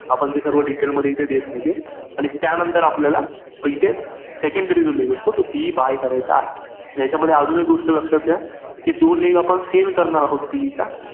IPL च view IPL च पंचा मागून view दिसेल.